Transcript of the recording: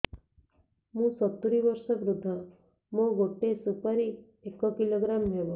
ମୁଁ ସତୂରୀ ବର୍ଷ ବୃଦ୍ଧ ମୋ ଗୋଟେ ସୁପାରି ଏକ କିଲୋଗ୍ରାମ ହେବ